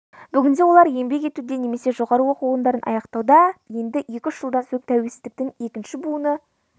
бүгінде олар еңбек етуде немесе жоғары оқу орындарын аяқтауда енді екі-үш жылдан соң тәуелсіздіктің екінші буыны